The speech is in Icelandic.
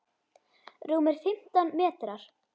Rúmir fimmtán metrar.